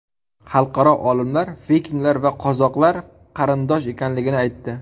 Xalqaro olimlar vikinglar va qozoqlar qarindosh ekanligini aytdi.